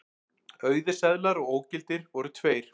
Auðir seðlar og ógildir voru tveir